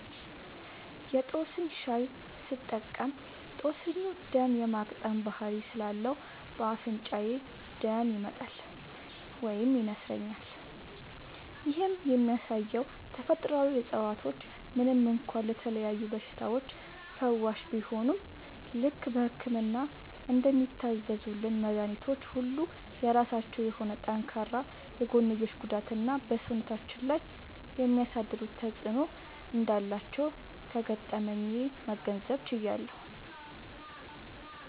የ ጦስኝ ሻይ ስጠቀም ጦስኙ ደም የ ማቅጠን ባህሪ ስላለው በ አፍንጫዬ ደም ይመጣል (ይነስረኛል)። ይህም የሚያሳየው ተፈጥሮአዊ እፀዋቶች ምንም እንኳ ለተለያዩ በሽታዎች ፈዋሽ ቢሆኑም፣ ልክ በህክምና እንደሚታዘዙልን መድኃኒቶች ሁሉ የራሳቸው የሆነ ጠንካራ የጎንዮሽ ጉዳትና በ ሰውነታችን ላይ የሚያሳድሩት ተጵዕኖ እንዳላቸው ከገጠመኜ መገንዘብ ችያለሁ።